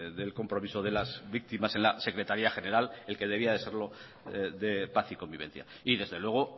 del compromiso de las víctimas en la secretaría general el que debía de serlo de paz y convivencia y desde luego